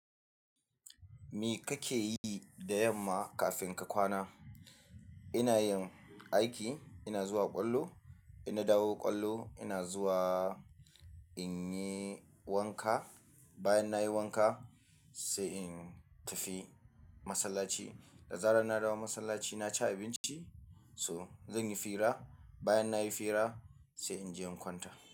Me kake yi da yamma kafin ka kwana? Ina yin aiki, ina zuwa ƙwallo, ina dawo ƙwallo, ina zuwa in yi wanka. Bayan na yi wanka sai in tafi masallaci. Da zarar na dawo masallaci na ci abinci, so zan yi fira. Bayan na yi fira sai in je in kwanta.